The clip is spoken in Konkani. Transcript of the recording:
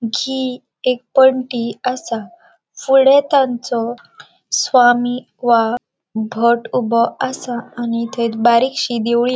असा फुड़े तांचो स्वामी वा भट ऊबो असा एक थंय बारीकशी देवळी --